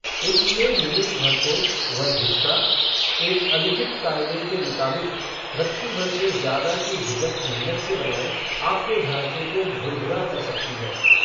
इसलिए निमिष भर को, वह झिझका, एक अलिखित काय़दे के मुताबिक़, रत्ती भर से ज़्यादा की झिझक मेहनत से बनाए, आपके ढांचे को, भुरभुरा कर सकती है